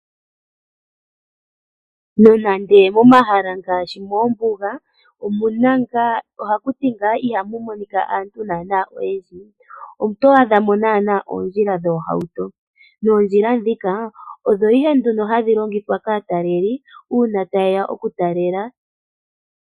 Nonande momahala ngaashi mombuga ohakuti ngaa ihamu monika ngaa aantu oyendji oto adhamo naanaa oondjila dhoohauto. Moondjila dhika odho ihe hadhi longithwa unene kaataleleli uuna tayeya okutalela.